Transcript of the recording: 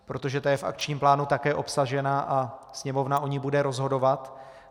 Protože ta je v akčním plánu také obsažena a Sněmovna o ní bude rozhodovat.